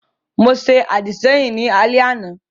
Mo ṣe àdìsẹ́yìn ní alẹ́ àná